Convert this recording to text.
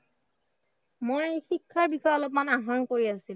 মই শিক্ষাৰ বিষয়ে অলপমান আহৰণ কৰি আছিলোঁ।